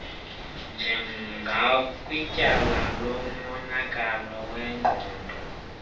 njengakwityala lomonakalo wengqondo